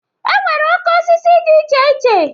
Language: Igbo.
E nwere oke osisi dị iche iche.